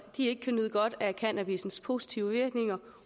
ikke kan nyde godt af cannabissens positive virkninger